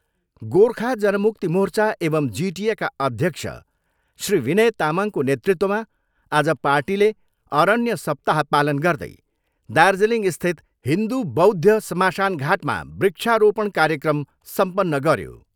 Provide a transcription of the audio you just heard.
गोर्खा जनमुक्ति मोर्चा एवं जिटिएका अध्यक्ष श्री विनय तामाङको नेतृत्वमा आज पार्टीले अरण्य सप्ताह पालन गर्दै दार्जिलिङस्थित हिन्दू बौद्ध श्मशानघाटमा वृक्ष रोपण कार्यक्रम सम्पन्न गर्यो।